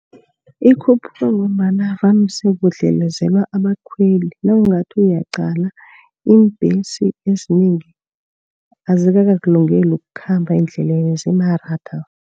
Ikhuphuka ngombana vane sekudlelezela abakhweli. Nawungathi uyaqala iimbhesi ezinengi azikakakulungeli ukukhamba endleleni, zimaratha.